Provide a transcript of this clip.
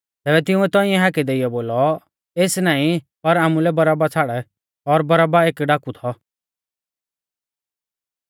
तैबै तिंउऐ तौंइऐ हाकै देइयौ बोलौ एस नाईं पर आमुलै बरअब्बा छ़ाड़ और बरअब्बा एक डाकू थौ